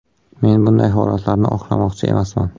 Men bunday holatlarni oqlamoqchi emasman.